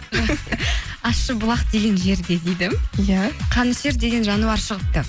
ащыбұлақ деген жерде дейді иә қанішер деген жануар шығыпты